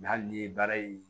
hali ni ye baara in